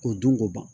K'o dun k'o ban